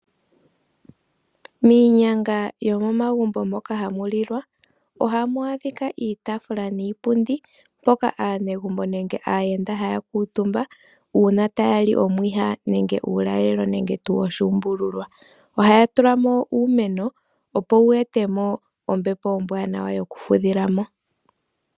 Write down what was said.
Miinyanga yomomagumbo moka hamulilwa oha mwadhika iitafula niipundi poka anengumbo nenge ayenda hakutumba una tayali omwiha nenge ulalelo nenge tu oshumbululwa, oha tulamo uumeno opo wetemo ombepo ombwanawa yoku fudhilamo.